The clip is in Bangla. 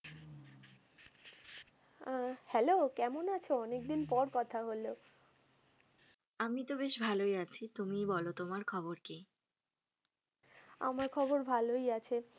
আহ Hello কেমন আছ, অনেক দিন পর কথা হল। আমিতো বেশ ভালোই আছি তুমিই বলো তোমার খবর কি? আমার খবর ভালোই আছে।